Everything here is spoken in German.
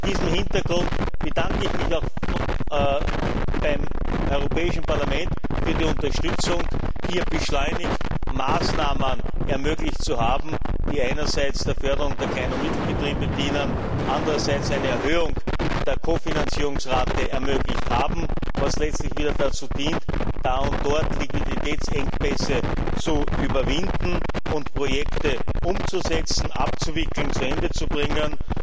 Vor diesem Hintergrund bedanke ich mich beim Europäischen Parlament für die Unterstützung, beschleunigt Maßnahmen ermöglicht zu haben, die einerseits der Förderung der Klein und Mittelbetriebe dienen und andererseits eine Erhöhung der Kofinanzierungsrate ermöglicht haben, was letztlich wieder dazu dient, da und dort Liquiditätsengpässe zu überwinden und Projekte umzusetzen, abzuwickeln, zu Ende zu bringen.